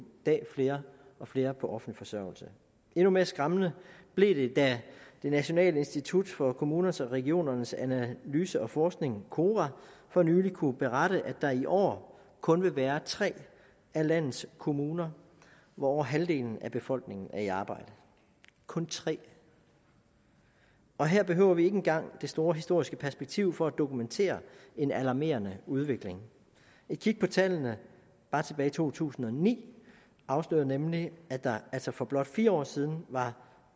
dag flere og flere på offentlig forsørgelse endnu mere skræmmende blev det da det nationale institut for kommuners og regioners analyse og forskning kora for nylig kunne berette at der i år kun vil være tre af landets kommuner hvor over halvdelen af befolkningen er i arbejde kun tre og her behøver vi ikke engang det store historiske perspektiv for at dokumentere en alarmerende udvikling et kig på tallene bare tilbage i to tusind og ni afslører nemlig at der altså for blot fire år siden var